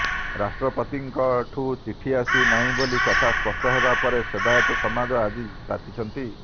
ରାଷ୍ଟ୍ରପତିଙ୍କଠୁ ଚିଠି ଆସି ନାହିଁ ବୋଲି କଥା ସ୍ପଷ୍ଟ ହେବା ପରେ ସେବାୟତ ସମାଜ ଆଜି ତାତିଛନ୍ତି